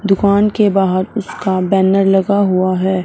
दुकान के बाहर उसका बैनर लगा हुआ है।